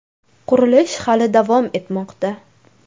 Qurilish hali davom etmoqda.